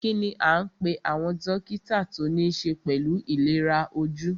Kínní a ń pé àwọn dókítà tí o níṣe pẹlú ìlera ojú?